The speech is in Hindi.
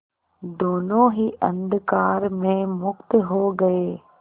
दोेनों ही अंधकार में मुक्त हो गए